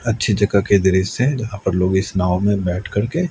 अच्छी जगह के दृश्य है यहां पर लोग इस नाव में बैठ करके--